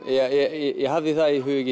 ég hafði það í huga